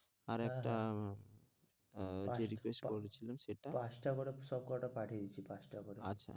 আর একটা আহ যে request করছিলাম সেটা পাঁচটা করে সব কটা পাঠিয়ে দিচ্ছি পাঁচটা করে আচ্ছা,